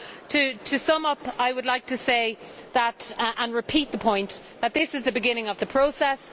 To sum up I would like to say and repeat the point that this is the beginning of the process.